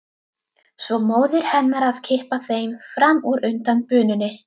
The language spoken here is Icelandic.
Svo móðir hennar að kippa þeim fram úr undan bununni.